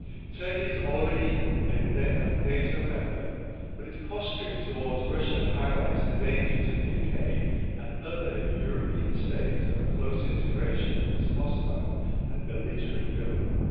Turkey is already a NATO member, but its posturing towards Russia highlights the danger, to the UK and other European states, of close integration with this hostile and belligerent government.